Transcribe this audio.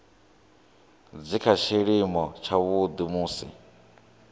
dzi kha tshiimo tshavhuḓi musi